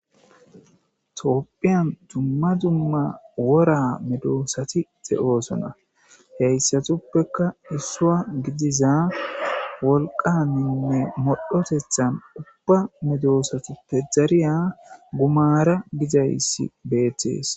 Tophiyan dumma dumma wora medosati de7osonna.heysatupeka issua gidiza wolqaninne modhotethan uba medosatappe dariya gumara gizaysi betes.